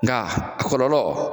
Nga a kɔlɔlɔ